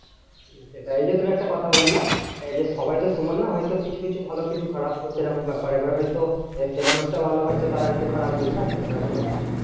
সেটা এই যে তুমি একটা কথা বললে, এই যে সবাই তো সমান না হয়তো কিছু কিছু ভালো কিছু কিছু খারাপ। তো সেরকম ব্যাপার এবার হয়ত সে মানুষটা ভালো হয়তো তারা একটু খারাপ বুঝলা? এইরকম ব্যাপার।